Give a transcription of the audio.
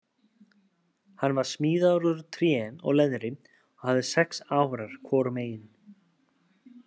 Hann var smíðaður úr tré og leðri og hafði sex árar hvorum megin.